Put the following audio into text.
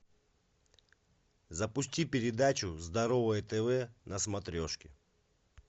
запусти передачу здоровое тв на смотрешке